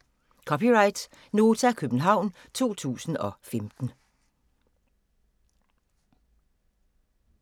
(c) Nota, København 2015